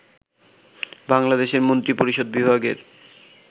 বাংলাদেশের মন্ত্রিপরিষদ বিভাগের